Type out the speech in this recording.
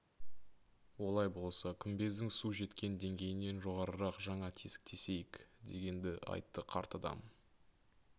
олай болса күмбездің су жеткен деңгейінен жоғарырақ жаңа тесік тесейік дегенді айтты қарт адам